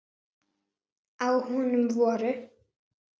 Á honum voru